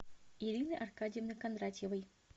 ирины аркадьевны кондратьевой